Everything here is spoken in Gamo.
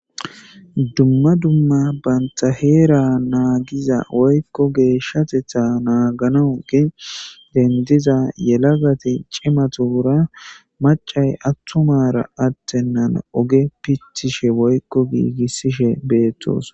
dumma dumma banta heera naagiza woykko geeshshatetha naaganawu gi dendiza yelagati cimatuura macay attumara attennan oge picthishe woykko giigissishe beettos